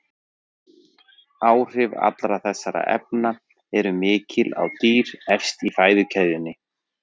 Áhrif allra þessara efna eru mikil á dýr efst í fæðukeðjunni.